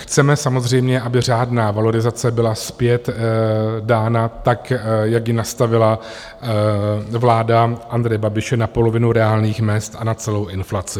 Chceme samozřejmě, aby řádná valorizace byla zpět dána tak, jak ji nastavila vláda Andreje Babiše, na polovinu reálných mezd a na celou inflaci.